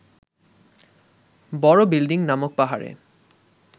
বড় বিল্ডিং নামক পাহাড়ে